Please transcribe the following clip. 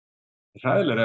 hræðilegra